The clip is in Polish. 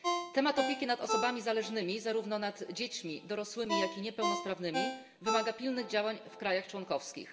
Temat opieki nad osobami zależnymi zarówno nad dziećmi, dorosłymi, jak i niepełnosprawnymi wymaga pilnych działań w krajach członkowskich.